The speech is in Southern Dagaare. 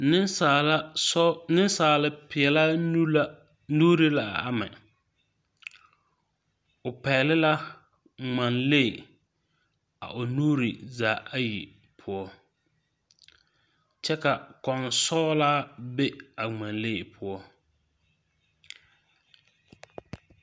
Ninsaalipeɛlaa nuuri la a amɛ ɔ pɛgli la ngmalee a ɔ nuuri zaa ayi pou kye ka kunsɔglaa be a ngmalee pou.